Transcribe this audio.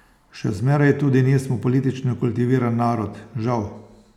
Še zmeraj tudi nismo politično kultiviran narod, žal.